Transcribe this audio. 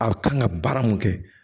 A kan ka baara mun kɛ